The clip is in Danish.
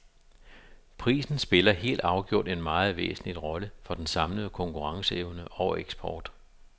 Prisen spiller helt afgjort en meget væsentlig rolle for den samlede konkurrenceevne og eksport.